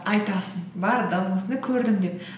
айтасың бардым осындай көрдім деп